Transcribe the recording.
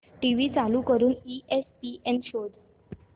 TV चालू करून ESPN शोध